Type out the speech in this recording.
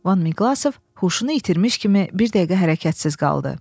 Van Miqlaqov huşunu itirmiş kimi bir dəqiqə hərəkətsiz qaldı.